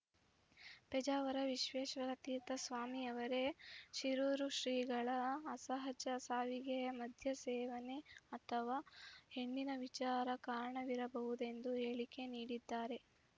ಪೇಜಾವರ ವಿಶ್ವೇಶ್ವರತೀರ್ಥ ಸ್ವಾಮಿಯವರೇ ಶಿರೂರು ಶ್ರೀಗಳ ಅಸಹಜ ಸಾವಿಗೆ ಮಧ್ಯ ಸೇವನೆ ಅಥವಾ ಹೆಣ್ಣಿನ ವಿಚಾರ ಕಾರಣವಿರಬಹುದೆಂದು ಹೇಳಿಕೆ ನೀಡಿದ್ದಾರೆ